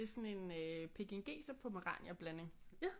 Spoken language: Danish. Det er sådan en pekingeser pomeranian blanding